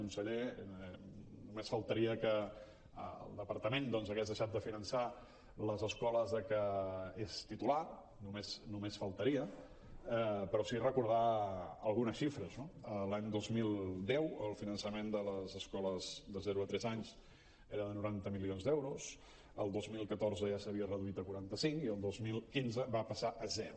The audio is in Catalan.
conseller només faltaria que el departament doncs hagués deixat de finançar les escoles de què és titular només faltaria però sí recordar algunes xifres no l’any dos mil deu el finançament de les escoles de zero tres anys era de noranta milions d’euros el dos mil catorze ja s’havia reduït a quaranta cinc i el dos mil quinze va passar a zero